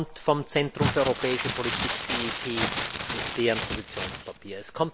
Er kommt vom Zentrum für Europäische Politik mit dessen Positionspapier.